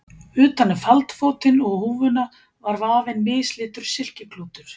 Utan um faldfótinn og húfuna var vafinn mislitur silkiklútur.